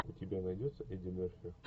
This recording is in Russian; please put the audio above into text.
у тебя найдется эдди мерфи